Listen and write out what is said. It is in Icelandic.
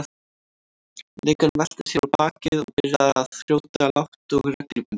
Leikarinn velti sér á bakið og byrjaði að hrjóta lágt og reglubundið.